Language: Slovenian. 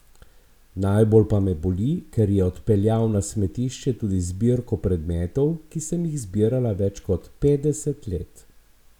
Najbolj pa me boli, ker je odpeljal na smetišče tudi zbirko predmetov, ki sem jih zbirala več kot petdeset let!